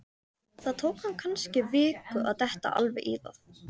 Það tók hann kannski viku að detta alveg í það.